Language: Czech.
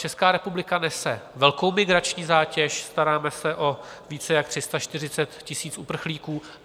Česká republika nese velkou migrační zátěž, staráme se o více jak 340 000 uprchlíků.